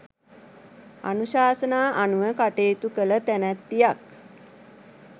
අනුශාසනා අනුව කටයුතු කළ තැනැත්තියක්.